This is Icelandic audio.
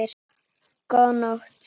Góða nótt.